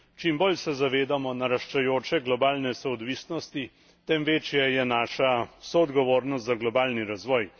Čim bolj se zavedamo naraščajoče globalne soodvisnosti, tem večja je naša soodgovornost za globalni razvoj.